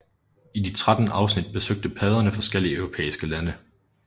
I de 13 afsnit besøgte padderne forskellige europæiske lande